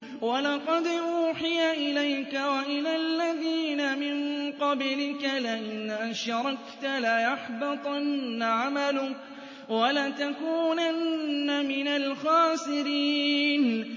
وَلَقَدْ أُوحِيَ إِلَيْكَ وَإِلَى الَّذِينَ مِن قَبْلِكَ لَئِنْ أَشْرَكْتَ لَيَحْبَطَنَّ عَمَلُكَ وَلَتَكُونَنَّ مِنَ الْخَاسِرِينَ